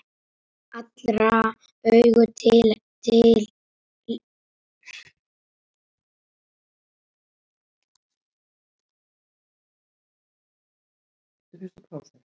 Allra augu litu til hennar.